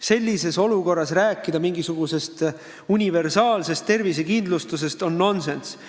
Sellises olukorras rääkida mingisugusest universaalsest tervisekindlustusest on nonsenss.